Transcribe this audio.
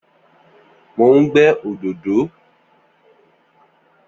Mò ń gè òdòdò.